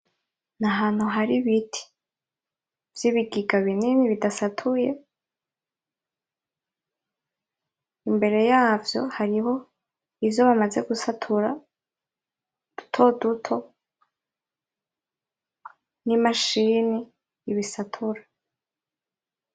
Ni ahantu hari ibiti vy'ibigega binini bidatasatuye. Imbere yavyo hariho ivyo bamaze gusatura dutoduto n'imashini ibisatura.